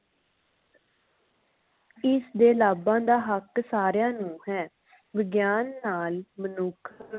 ਇਸ ਦੇ ਲਾਭਾਂ ਦਾ ਹੱਕ ਸਾਰਿਆਂ ਨੂੰ ਹੈ ਵਿਗਿਆਨ ਨਾਲ ਮਨੁੱਖ